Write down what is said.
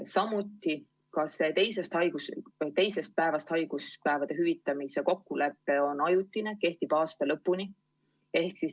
Ja ka see teisest päevast haiguspäevade hüvitamise kokkulepe on ajutine, kehtib aasta lõpuni.